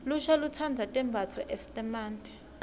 lusha lutsandza tembatfo eesimante